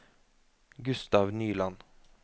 Gustav Nyland